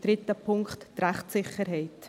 Dritter Punkt: die Rechtssicherheit.